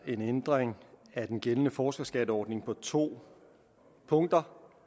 en ændring af den gældende forskerskatteordning på to punkter